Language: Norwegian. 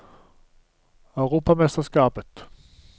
europamesterskapet